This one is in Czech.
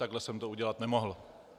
Takhle jsem to udělat nemohl.